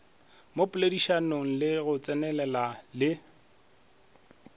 mo poledišanong le tsenelelano le